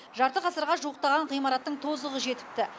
жарты ғасырға жуықтаған ғимараттың тозығы жетіпті